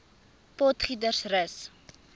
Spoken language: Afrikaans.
potgietersrus